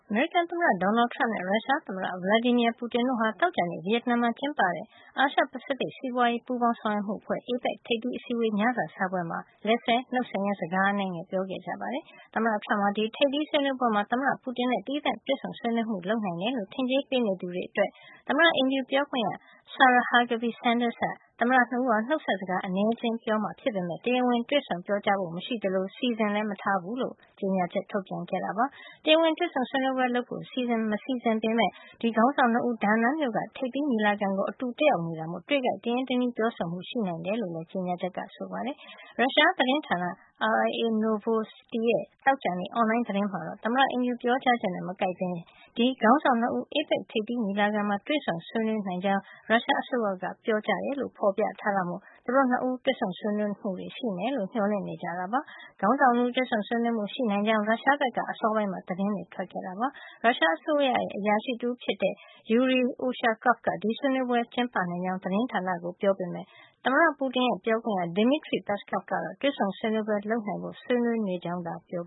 အမေရိကန် သမ္မတ Donald Trump နဲ့ ရုရှားသမ္မတ Vladimir Putin တို့ဟာ သောကြာနေ့က ဗီယက်နမ်နိုင်ငံမှာ ကျင်းပတဲ့ အာရှပစိဖိတ် စီးပွါးရေး ပူးပေါင်းဆောင်ရွက်မှု အဖွဲ့ (APEC) ထိပ်သီးအစည်းအဝေး ညစာစားပွဲမှာ လက်ဆွဲနှုတ်ဆက်ရင်း စကားအနည်းငယ်ပြောခဲ့ကြပါတယ်။ သမ္မတ Trump ဟာ ဒီထိပ်သီးဆွေးနွေးပွဲမှာ သမ္မတ Putin နဲ့ သီးသန့်တွေ့ဆုံဆွေးနွေးမှုတွေ လုပ်နိုင်တယ်လို့ ထင်ကြေးပေးနေသူတွေ အတွက် သမ္မတအိမ်ဖြူပြောခွင့်ရ Sarah Huckabee Sanders က သမ္မတ ၂ ဦးဟာ နှုတ်ဆက်စကား အနည်းအကျဉ်းပြောမှာ ဖြစ်ပေမယ့် တရားဝင် တွေ့ဆုံပြောကြားဖို့ မရှိသလို စီစဉ်ထားတာလည်း မရှိဘူးလို့ အစောပိုင်းမှာ ကြေညာချက် ထုတ်ပြန်ပြောဆိုခဲ့တာပါ။ တရားဝင်တွေ့ဆုံဆွေးနွေးပွဲ ပြုလုပ်ဖို့ စီစဉ်မထားပေမယ့် ဒီခေါင်းဆောင် ၂ ဦးဟာ ဒါနန်းမြို့က ထိပ်သီးညီလာခံကို အတူတက်ရောက်နေတာမို့ တွေ့ခိုက်မှာ တရင်းတနှီး ပြောဆိုမှုတွေတော့ ရှိနိုင်တယ်လို့ ကြေညာချက်က ဆိုပါတယ်။ ရုရှားသတင်းဌာန RIA Novosti ရဲ့ သောကြာနေ့ အွန်လိုင်း သတင်းမှာတော့ သမ္မတအိမ်ဖြူက ပြောကြားချက်နဲ့ မကိုက်ပဲ ဒီခေါင်းဆောင် ၂ ဦး APEC ထိပ်သီးညီလာခံမှာ တွေ့ဆုံဆွေးနွေး နိုင်ကြောင်း ရုရှားအစိုးရက ပြောကြားတယ်လို့ ဖေါ်ပြထားတာမို့ သူတို့ ၂ ဦး တွေ့ဆုံ ဆွေးနွေးမှုတွေရှိမယ်လို့ မျှော်လင့်နေကြတာပါ။ ခေါင်းဆောင် ၂ ဦးတွေ့ဆုံဆွေးနွေးမှု ရှိနိုင်ကြောင်း ရုရှားဘက်က အစောပိုင်းမှာ သတင်းတွေ ထွက်လာခဲ့ပါတယ်။ ရုရှားအစိုးရ အရာရှိ တဦး ဖြစ်တဲ့ Yury Ushakov က ဒီဆွေးနွေးပွဲကျင်းပနိုင်ကြောင်း ရုရှားသတင်းဌာန တွေကို ပြောခဲ့ပေမယ့် သမ္မတ Putin ရဲ့ပြောခွင့်ရ Dmitry Peskov ကတော့ တွေ့ဆုံပွဲလုပ်နိုင်ဖို့ ဆွေးနွေးနေကြောင်းသာ ပြော